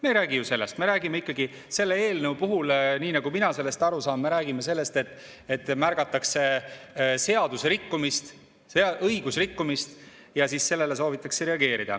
Me ei räägi ju sellest, me räägime ikkagi selle eelnõu puhul, nii nagu mina aru saan, sellest, et märgatakse seadusrikkumist, õigusrikkumist ja siis sellele soovitakse reageerida.